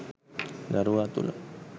දරුවා තුළ